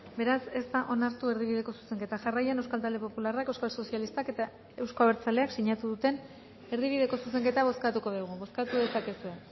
beraz ez da onartu erdibideko zuzenketa jarraian euskal talde popularrak euskal sozialistak eta euzko abertzaleak sinatu duten erdibideko zuzenketa bozkatuko dugu bozkatu dezakezue